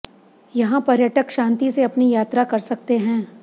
यहां पर्यटक शांति से अपनी यात्रा कर सकते हैं